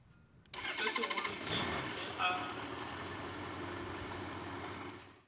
se segolo ke ge a